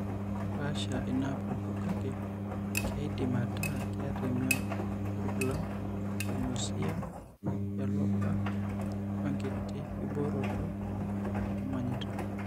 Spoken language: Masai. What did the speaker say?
Kepaasha inaapuku, kake keidim ataa keeta emion orkulam, enausea, elopa, oenkiti kibooroto emonyita.